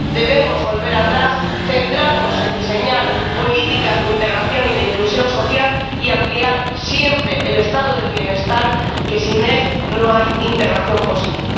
Debemos volver atrás, centrarnos en diseñar políticas de integración y de inclusión social y ampliar siempre el Estado del bienestar, ya que sin él no hay integración posible.